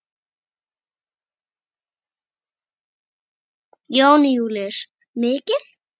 Jón Júlíus: Mikið?